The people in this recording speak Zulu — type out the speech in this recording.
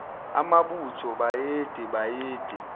amabutho bayede bayede